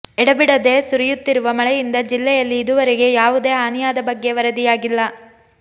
ಎಡೆಬಿಡದೇ ಸುರಿಯುತ್ತಿರುವ ಮಳೆಯಿಂದ ಜಿಲ್ಲೆಯಲ್ಲಿ ಇದುವರೆಗೆ ಯಾವೂದೇ ಹಾನಿಯಾದ ಬಗ್ಗೆ ವರದಿಯಾಗಿಲ್ಲ